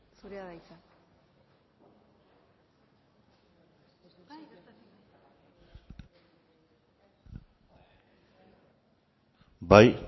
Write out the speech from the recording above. zurea da hitza bai